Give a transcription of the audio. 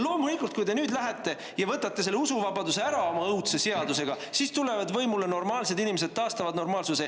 Loomulikult, kui te nüüd lähete ja võtate selle usuvabaduse ära oma õudse seadusega, siis tulevad võimule normaalsed inimesed, taastavad normaalsuse.